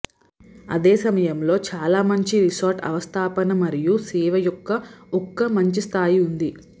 అదే సమయంలో చాలా మంచి రిసార్ట్ అవస్థాపన మరియు సేవ యొక్క ఒక మంచి స్థాయి ఉంది